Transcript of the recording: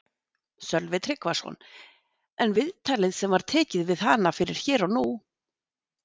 Sölvi Tryggvason: En viðtalið sem var tekið við hana fyrir Hér og nú?